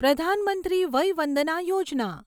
પ્રધાન મંત્રી વય વંદના યોજના